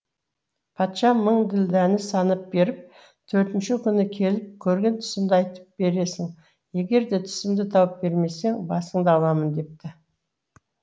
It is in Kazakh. патша мың ділдәні санап беріп төртінші күні келіп көрген түсімді айтып бересің егерде түсімді тауып бермесең басыңды аламын депті